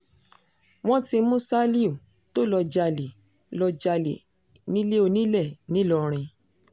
wọ́n ti mú ṣálíù tó lọ́ọ́ jalè lọ́ọ́ jalè nílé onílẹ̀ ńìlọrin